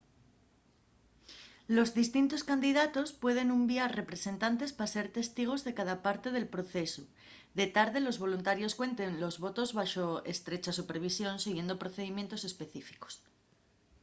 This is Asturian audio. los distintos candidatos pueden unviar representantes pa ser testigos de cada parte del procesu de tarde los voluntarios cuenten los votos baxo estrecha supervisión siguiendo procedimientos específicos